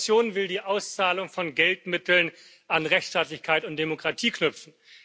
Die Kommission will die Auszahlung von Geldmitteln an Rechtstaatlichkeit und Demokratie knüpfen.